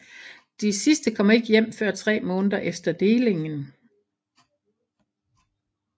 De sidste kom ikke hjem før tre måneder efter delingen